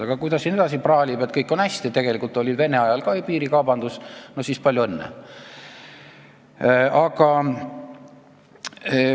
Aga kui ta siin edasi praalib, et kõik on hästi ja tegelikult oli Vene ajal ka piirikaubandus, no siis palju õnne!